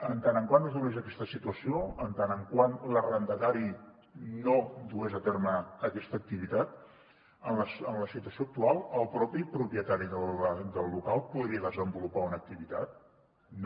mentre es donés aquesta situació mentre l’arrendatari no dugués a terme aquesta activitat en la situació actual el mateix propietari del local podria desen volupar una activitat no